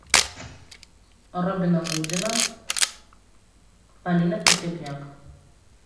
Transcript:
робина гудина полина погребняк